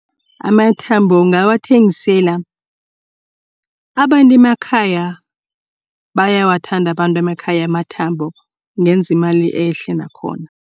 Amathambo ungawathengisela abantu emakhaya bayawathanda abantu emakhaya amathambo ungenza imali ehle nakhona.